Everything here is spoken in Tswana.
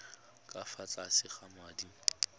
ka fa tlase ga madi